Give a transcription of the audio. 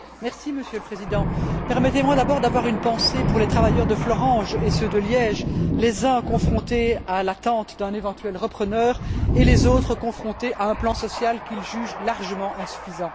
Monsieur le Président, permettez moi d'abord d'avoir une pensée pour les travailleurs de Florange et ceux de Liège, les uns confrontés à l'attente d'un éventuel repreneur, et les autres confrontés à un plan social qu'ils jugent largement insuffisant.